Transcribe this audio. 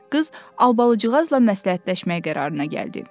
Qız Albalıcığazla məsləhətləşmək qərarına gəldi.